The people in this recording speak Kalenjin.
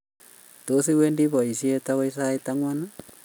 Tos, iwendi boisiet agoi sait angwan?